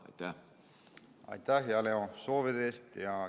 Aitäh, hea Leo, soovide eest!